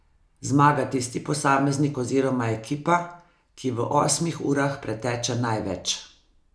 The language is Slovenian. Zmaga tisti posameznik oziroma ekipa, ki v osmih urah preteče največ.